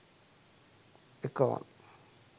akon